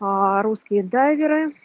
аа русские дайверы